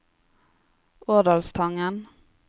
Årdalstangen